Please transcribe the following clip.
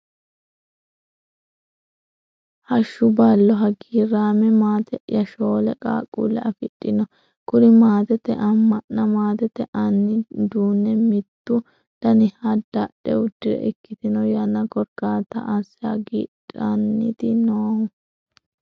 Hashshu ballo hagiirame maate'ya, shoole qaaqqule affidhino kuri maatete amanna maatete anni uduune mitu daniha dadhe udire ikkitino yanna korkaatta asse hagiidhaniti noohu.